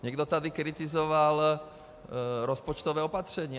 Někdo tady kritizoval rozpočtové opatření.